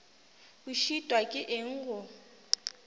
o šitwa ke eng go